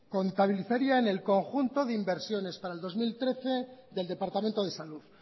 contabilizaría en el conjunto de inversiones para el dos mil trece del departamento de salud